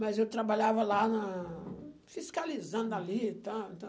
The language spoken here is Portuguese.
Mas eu trabalhava lá na... fiscalizando ali e tal e tal.